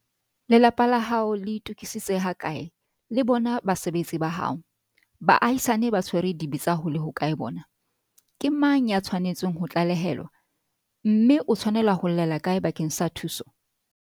Lelapa la hao le itokisitse hakae, le bona basebetsi ba hao? Baahisani ba tshwere dibetsa ho le hokae bona? Ke mang ya tshwanetseng ho tlalehelwa, mme o tshwanela ho llela kae bakeng sa thuso?